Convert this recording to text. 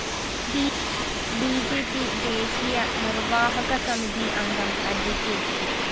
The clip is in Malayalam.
ബി ജെ പി ദേശീയ നിര്‍വ്വാഹകസമിതി അംഗം അഡ്വ